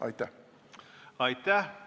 Aitäh!